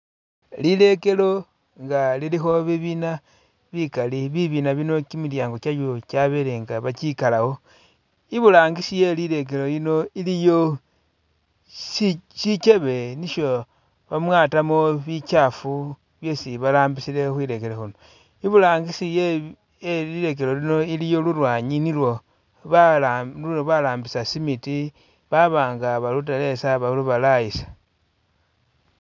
Lilekelo inga liliku bibina bikalli bibina bino kimilyangi kyayo kyabelenga bakikalawo iburangisi helilekelo lino iliyo shikyebe nisho bamwatamo bikyafu byesi barambisile khwilekelo khuno iburangisi ye yelilekelo lino iliyo lulwanyi nilwo barambisa simiti babanga baruteletsa balubalayisa.